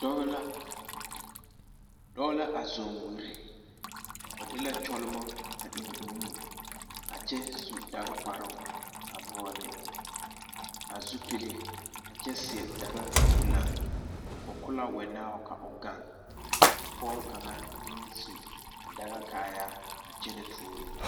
Dɔɔ la a zɔɔ wiri o de la kyɔlemɔ a eŋ o nu a kyɛ su dakakparoo a vɔɔle a zupili a kyɛ seɛ daɡakurlane o ko la wɛnao ka o ɡaŋ ka pɔɡe kaŋa meŋ su a daɡakaayaa a kyɛnɛ tuuro o.